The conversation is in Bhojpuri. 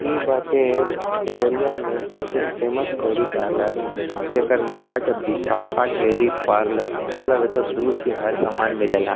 ई बाटे देवरिया में सबसे फेमस डेरी पार्लर । जेकर नाम बाटे बिसाखा डेली पार्लर । मतलब एतो दुध के हर सामान मिलेला।